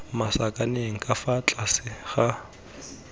masakaneng ka fa tlase ga